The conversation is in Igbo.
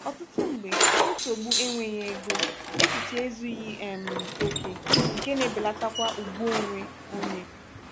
ọtụtụ mgbe nsogbu enweghị ego echiche ezughị um oke nke na-ebelatakwa ugwu onwe onye.